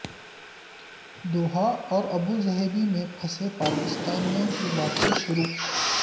Doha اور Abu Dhabi میں پھنسے پاکستانیوں کی واپسی شروع